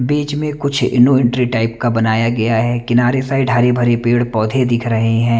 बीच में कुछ no entry type का बनाया गया है किनारे साइड हरे भरे पेड़ पौधे दिख रहे हैं।